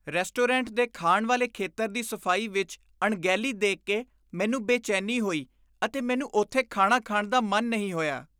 Restaurant ਦੇ ਖਾਣ ਵਾਲੇ ਖੇਤਰ ਦੀ ਸਫ਼ਾਈ ਵਿੱਚ ਅਣਗਹਿਲੀ ਦੇਖ ਕੇ ਮੈਨੂੰ ਬੇਚੈਨੀ ਹੋਈ ਅਤੇ ਮੈਨੂੰ ਉੱਥੇ ਖਾਣਾ ਖਾਣ ਦਾ ਮਨ ਨਹੀਂ ਹੋਇਆ।